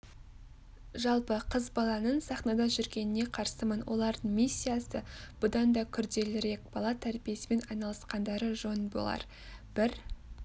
жалпы қыз баланың сахнада жүргеніне қарсымын олардың миссиясы бұдан дакүрделірек бала тәрбиесімен айналысқандары жөн болар бір